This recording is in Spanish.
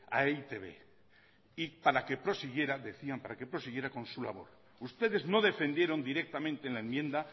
a e i te be para que prosiguiera para que prosiguiera con su labor ustedes no defendieron directamente en la enmienda